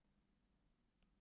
Ætli það gleymist ekki fljótt